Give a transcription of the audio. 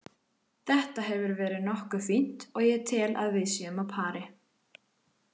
Þetta hefur verið nokkuð fínt og ég tel að við séum á pari.